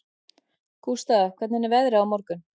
Gústaf, hvernig er veðrið á morgun?